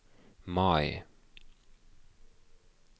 Mai